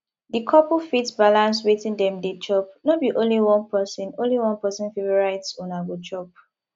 di couple fit balance wetin dem dey chop no be only one person only one person favourite una go cook